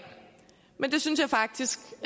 men det synes jeg faktisk